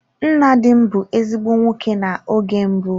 Nna di m bụ ezigbo nwoke na oge mbụ.